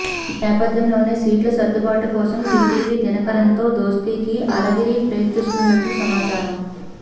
ఈ నేపథ్యంలోనే సీట్ల సర్దుబాటు కోసం టీటీవీ దినకరన్తో దోస్తీకి అళగిరి ప్రయత్నిస్తున్నట్టు సమాచారం